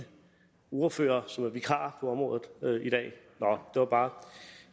ordførerne som er vikarer på området i dag nå det var bare